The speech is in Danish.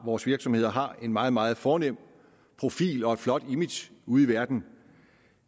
vores virksomheder har en meget meget fornem profil og et flot image ude i verden